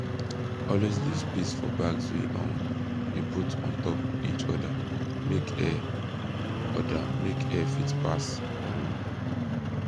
always leave space for bags wey um you put ontop each other make air other make air fit pass um